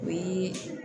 O ye